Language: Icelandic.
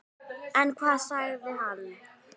En hvað sagði hann?